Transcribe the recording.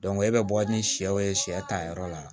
e bɛ bɔ ni sɛw ye sɛ ta yɔrɔ la